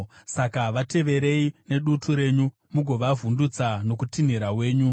saka vateverei nedutu renyu mugovavhundutsa nokutinhira wenyu.